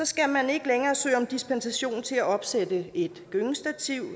skal man ikke længere søge om dispensation til at opsætte et gyngestativ